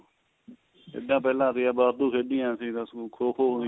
ਜਿੱਦਾ ਪਹਿਲਾਂ ਸੀਗਾ ਵਾਧੂ ਖੇਡਿਆ ਅਸੀਂ ਖੋ ਖੋ